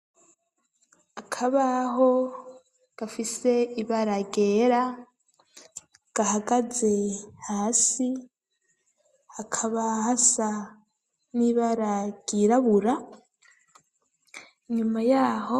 Akabaho gafise ibara ryera gahagaze hasi hakaba hasa n'ibara ryirabura inyuma yaho